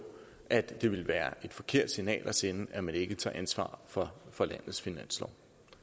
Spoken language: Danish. at det ville være et forkert signal at sende at man ikke tager ansvar for for landets finanslov